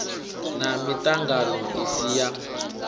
na miṱangano i si ya